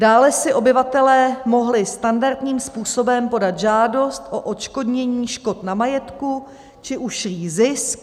Dále si obyvatelé mohli standardním způsobem podat žádost o odškodnění škod na majetku či ušlý zisk.